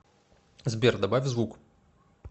сбер добавь звук